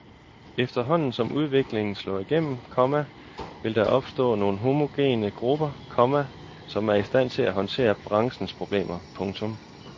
Efterhånden som udviklingen slår igennem, komma vil der opstå nogle få homogene grupper, komma som er i stand til at håndtere branchens problemer. punktum